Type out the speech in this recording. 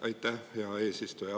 Aitäh, hea eesistuja!